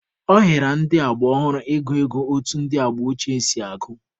Ọ hịara ndị agba ọhụrụ ị gụ ego otu ndị agba ochie si agụ.